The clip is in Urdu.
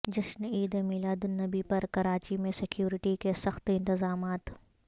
جشن عید میلاد النبی پر کراچی میں سیکیورٹی کے سخت انتظامات